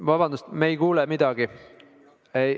Vabandust, me ei kuule midagi.